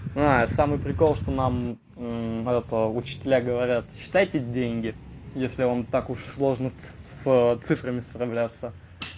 а самый прикол что нам это учителя говорят считайте деньги если он вам так уж сложно ц с цифрами справляться